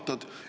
Aitäh!